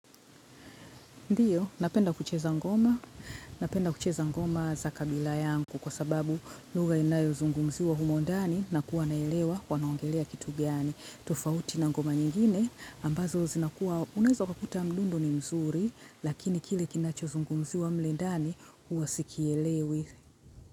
Ndiyo, napenda kucheza ngoma, napenda kucheza ngoma za kabila yangu kwa sababu lugha inayozungumziwa humo ndani na kuwa naelewa wanaongelea kitu gani. Tofauti na ngoma nyingine ambazo zinakuwa unaezo ukakuta mdundo ni mzuri lakini kile kinachozungumziwa mle ndani huwa sikielewi.